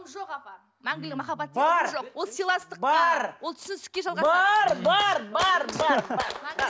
жоқ апа мәңгілік махаббат деген жоқ ол сыйластық бар ол түсіністікке жалғасады бар бар бар бар бар